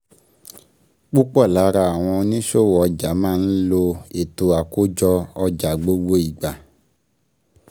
Púpò lára àwọn oníṣòwò ọjà má ń lo ètò àkójọ ọjà gbogbo ìgbà.